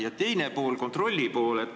Ja teine pool küsimusest: kontrolli pool.